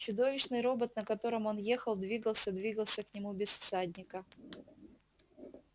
чудовищный робот на котором он ехал двигался двигался к нему без всадника